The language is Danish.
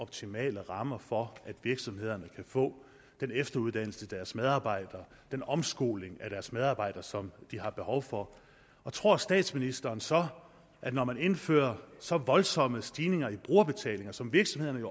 optimale rammer for at virksomhederne kan få den efteruddannelse til deres medarbejdere den omskoling af deres medarbejdere som de har behov for tror statsministeren så at når man indfører så voldsomme stigninger i brugerbetalingen som virksomhederne